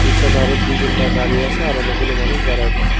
পিছনে আরও দুই তিনটে গাড়ি আছে আর অনেকগুলো মানুষ দাঁড়ায় রই--